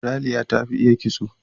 Raliya ta fi iya kitso.